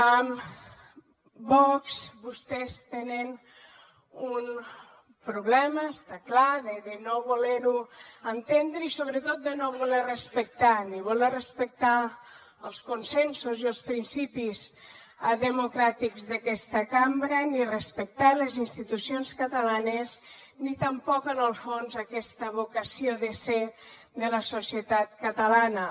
vox vostès tenen un problema està clar de no voler ho entendre i sobretot de no voler ho respectar ni voler respectar els consensos i els principis democràtics d’aquesta cambra ni respectar les institucions catalanes ni tampoc en el fons aquesta vocació de ser de la societat catalana